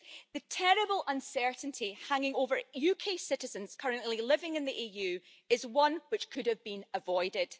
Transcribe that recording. The terrible uncertainty hanging over UK citizens currently living in the EU is one which could have been avoided.